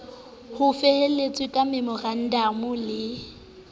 ho felehetswa ke memorandamo le